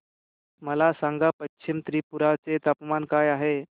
मला सांगा पश्चिम त्रिपुरा चे तापमान काय आहे